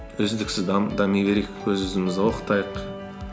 үздіксіз дами берейік өз өзімізді оқытайық